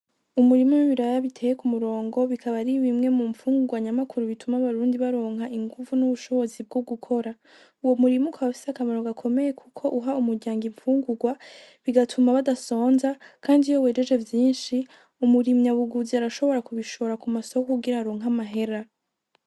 Umurima wibiraya biteye kumurongo bikaba ari bimwe mumfungurwa nyamukuru bituma abarundi baronka inguvu n'ubushobozi bwo gukora, uwo murima ukaba ufise akamaro gakomeye kuko uha umuryango imfungurwa bigatuma badasonza kandi iyo wejeje vyinshi umurimyi arashobora kubishora kumasoko kugira aronke amahera.